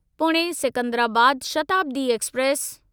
Pune Secunderabad Shatabdi express